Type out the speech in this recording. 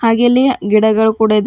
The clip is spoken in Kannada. ಹಾಗೆ ಇಲ್ಲಿ ಗಿಡಗಳು ಕೂಡ ಇದವ್--